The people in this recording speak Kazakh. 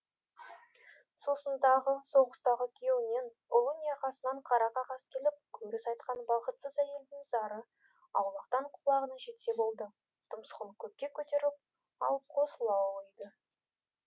сосын тағы соғыстағы күйеуінен ұлы не ағасынан қара қағаз келіп көріс айтқан бақытсыз әйелдің зары аулақтан құлағына жетсе болды тұмсығын көкке көтеріп алып қосыла ұлиды